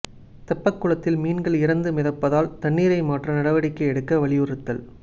தெப்பக்குளத்தில் மீன்கள் இறந்து மிதப்பதால் தண்ணீரை மாற்ற நடவடிக்கை எடுக்க வலியுறுத்தல்